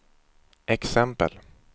exempel